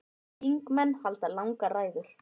Þingmenn halda langar ræður.